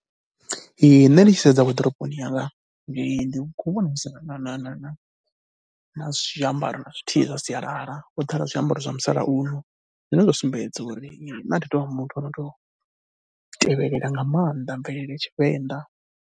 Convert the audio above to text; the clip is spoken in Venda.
Ee, nṋe ndi tshi sedza waḓiroponi yanga ndi khou vhona hu si na na na na na zwiambaro na zwithihi zwa sialala. Ho ḓala zwiambaro zwa musalauno zwine zwa sumbedza uri nṋe thi tou vha muthu o no tou tevhelela nga maanḓa mvelele ya Tshivenḓa.